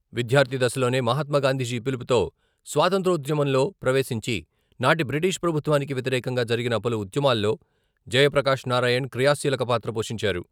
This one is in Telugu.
విద్యార్థి దశలోనే మహాత్మాగాంధీజి పిలుపుతో స్వాతంత్ర్యోద్యమంలో ప్రవేశించి నాటి బ్రిటిష్ ప్రభుత్వానికి వ్యతిరేకంగా జరిగిన పలు ఉద్యమాల్లో జయప్రకాష్ నారాయణ్ క్రియాశీలక పాత్ర పోషించారు.